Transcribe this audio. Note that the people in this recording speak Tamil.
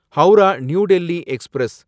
ஹவுரா நியூ டெல்லி எக்ஸ்பிரஸ்